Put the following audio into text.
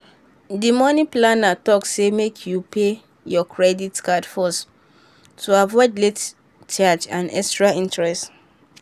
di money planner talk say make you pay your credit card first to avoid late charge and extra interest.